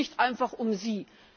Es geht nicht einfach um Sie!